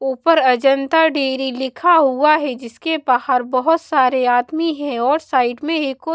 ऊपर अजंता डेरी लिखा हुआ है जिसके बाहर बहुत सारे आदमी हैं और साइड में एक ओ--